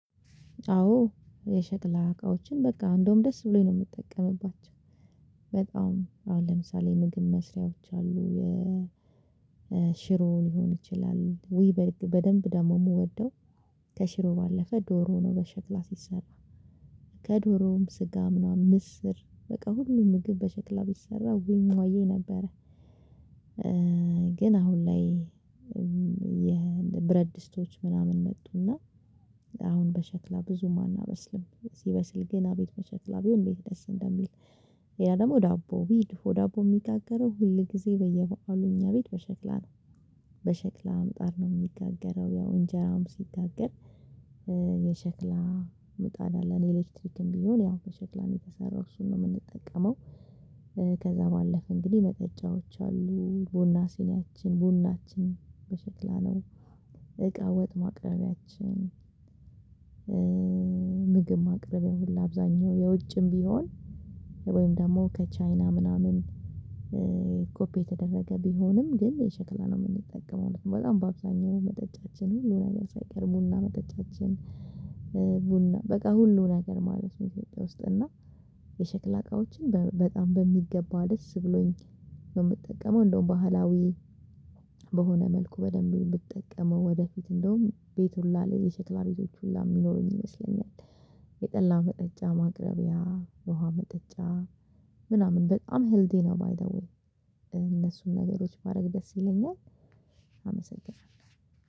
አዎ የሸክላ እቃዎችን በቃ እንደውም ደስ ብሎኝ ነው የምጠቀምባቸው። በጣም አሁን ለምሳሌ ምግብ መስሪያዎች አሉ የሽሮው ሊሆን ይችላል ውይ በደንብ ደግሞ የምወደው። ከሽሮ ባለፈ ዶሮ ሆኖ በሸክላ ሲሰራ ከዶሮውም ስጋ ምናምን ምስር በቃ ሁሉ ምግብ በሸክላ ቢሰራ ወይ እማዬ ነበረ። ግን አሁን ላይ የብረድ ድስቶች ምናምን መጡና አሁን በሸክላ ብዙም አናበስልም። ሲበስል ግን አቤት በሸክላ ቢሆን እንዴት ደስ እንደሚል። ያ ደግሞ ዳቦ ቢሄድ ወደ አቦ የሚጋገረው ሁል ጊዜ በየበአሉ እኛ ቤት በሸክላ ነው። በሸክላ ምጣድ ነው የሚጋገረው ያው እንጀራም ሲጋገር። የሸክላ ምጣድ አለን ኤሌክትሪክም ቢሆን ያው ከሸክላ የተሰራው እሱን ነው የምንጠቀመው። ከዛ ባለፈ እንግዲህ መጠጫዎች አሉ ቡና ሲኒያችን በሽክላ ነው። እቃ ወጥ ማቅረቢያችን። ምግብ ማቅረቢያ ሁሉ አብዛኛው የውጭም ቢሆን ወይም ደግሞ ከቻይና ምናምን። ኮፒ የተደረገ ቢሆንም ግን የሸክላ ነው የምንጠቀመው በጣም በአብዛኛው መጠጫችን ሁሉን ነገር ሳይቀር ቡና መጠጫችን። ቡና በቃ ሁሉን ነገር ማለት ነው ኢትዮጵያ ውስጥ እና። የሸክላ እቃዎችን በጣም በሚገባ ደስ ብሎኝ ነው የምጠቀመው። እንደውም ባህላዊ በሆነ መልኩ በደንብ ነው ምንጠቀመው ወደፊት እንደውም ቤት ሁላ የሸክላ ቤቶችን ሁላ ሚኖሩኝ ይመስለኛል። የጠላ መጠጫ ማቅረቢያ የውሃ መጠጫ ምናምን በጣም ህይወቴን ማይገቡኝ። እነሱን ነገሮች ባደርግ በጣም ደስ ይለኛል። አመሰናለው።